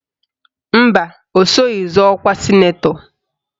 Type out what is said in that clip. Mba, o soghi zọọ ọkwa sịnetọ